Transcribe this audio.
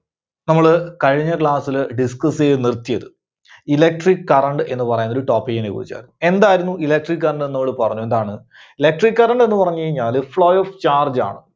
നമ്മള് കഴിഞ്ഞ class ല് discuss ചെയ്ത് നിർത്തിയത്, Electric current എന്ന് പറയുന്ന ഒരു topic നെ കുറിച്ചാണ്. എന്തായിരുന്നു electric current എന്ന് നമ്മള് പറഞ്ഞു. എന്താണ്? Electric current എന്ന് പറഞ്ഞു കഴിഞ്ഞാല് flow of charge ആണ്.